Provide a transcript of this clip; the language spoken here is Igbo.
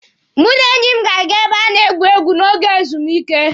Mụ na enyi m na-aga ebe a na-egwu egwu n'oge ezumike.